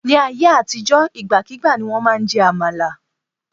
Ní ayé àtijó, ìgbàkígbà ni wọ́n máa ń jẹ àmàlà.